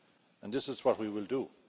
And that is what we will do.